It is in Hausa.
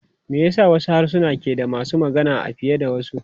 Me yasa wasu harsuna ke da masu magana fiye da wasu?